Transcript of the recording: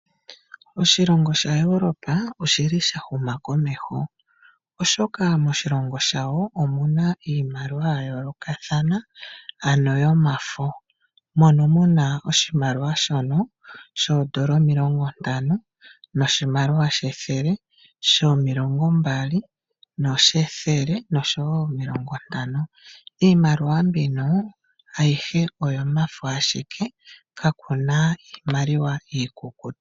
Oshilongo sha Europa oshili sha huma komeho oshoka moshilongo shawo omuna iimaliwa ya yoolokathana ano yomafo mono muna oshimaliwa shono shoodola omilongo ntano noshimaliwa shethele shomilongo mbali noshethele noshowo omilongo ntano iimaliwa mbino ayihe oyomafo ashike kakuna iimaliwa iikukutu.